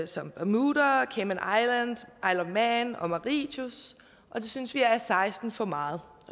som bermuda cayman og mauritius og det synes vi er seksten for meget